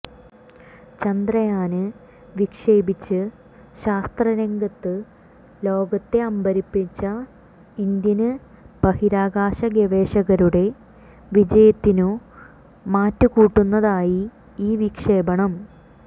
ചന്ദ്രയാന് വിക്ഷേപിച്ച് ശാസ്ത്ര രംഗത്ത് ലോകത്തെ അമ്പരപ്പിച്ച ഇന്ത്യന് ബഹിരാകാശ ഗവേഷകരുടെ വിജയത്തിനു മാറ്റുകൂട്ടുന്നതായി ഈ വിക്ഷേപണം